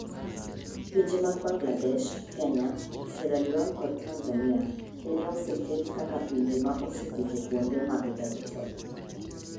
Pinje mag Bangladesh, Kenya, Sierraleone kod Tanzania nene oseket kaka pinje ma oseketo kuonde mag EdTech